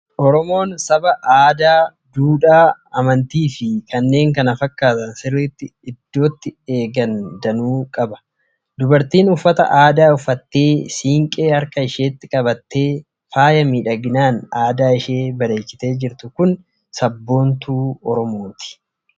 Oromoon saba aadaa, duudhaa, amantii fi kanneen kana fakkaatan sirriitti iddootti eegan danuu qaba. Dubartiin uffata aadaa uffattee, siinqee harka isheetti qabattee, faaya miidhaginaan adda ishee bareechitee jirtu kun sabboontuu Oromooti.